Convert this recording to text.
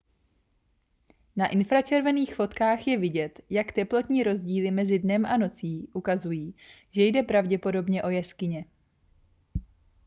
na infračervených fotkách je vidět jak teplotní rozdíly mezi dnem a nocí ukazují že jde pravděpodobně o jeskyně